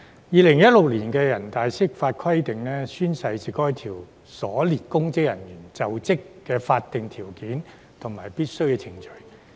2016年的人大釋法規定："宣誓是該條所列公職人員就職的法定條件和必經程序。